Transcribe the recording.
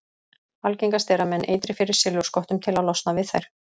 Algengast er að menn eitri fyrir silfurskottunum til að losna við þær.